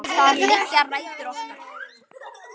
Þar liggja rætur okkar.